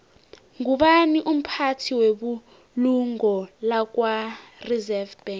ngubani umphathi webulungo lakwareserve bank